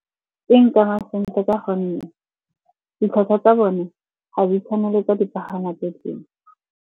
E nkama sentle ka gonne ditlhwatlhwa tsa bone ga di tshwane le tsa dipagamwa tse dingwe.